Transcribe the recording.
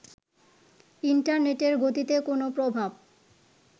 ইন্টারেনেটের গতিতে কোনো প্রভাব